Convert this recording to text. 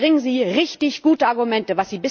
Aber bringen Sie richtig gute Argumente.